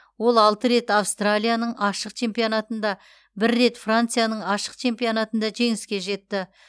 ол алты рет австралияның ашық чемпионатында бір рет францияның ашық чемпионатында жеңіске жетті